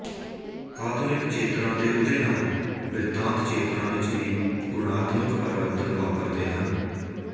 ਆਧੁਨਿਕ ਚੇਤਨਾ ਦੇ ਉਦੇ ਨਾਲ ਬਿਰਤਾਂਤਚੇਤਨਾ ਵਿੱਚ ਵੀ ਗੁਣਾਤਮਕ ਪਰਿਵਰਤਨ ਵਾਪਰਦੇ ਹਨ